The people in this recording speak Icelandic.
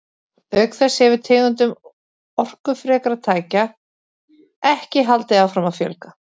Auk þess hefur tegundum orkufrekra tækja ekki haldið áfram að fjölga.